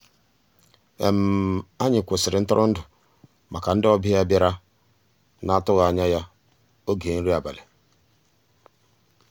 ànyị́ kwụ́sị́rí ntụ́rụ́èndụ́ màkà ndị́ ọ̀bịá bìàrá ná-àtụ́ghị́ ànyá ògé nrí àbàlí.